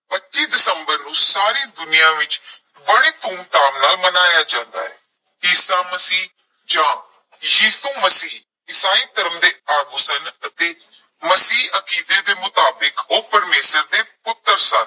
ਪੱਚੀ ਦਸੰਬਰ ਨੂੰ ਸਾਰੀ ਦੁਨੀਆਂ ਵਿਚ ਬੜੇ ਧੂਮ ਧਾਮ ਨਾਲ ਮਨਾਇਆ ਜਾਂਦਾ ਹੈ, ਈਸਾ ਮਸੀਹ ਜਾਂ ਯਿਸੂ ਮਸੀਹ ਈਸਾਈ ਧਰਮ ਦੇ ਆਗੂ ਸਨ ਅਤੇ ਮਸੀਹੀ ਅਕੀਦੇ ਦੇ ਮੁਤਾਬਿਕ ਓਹ ਪਰਮੇਸ਼ਰ ਦੇ ਪੁੱਤਰ ਸਨ।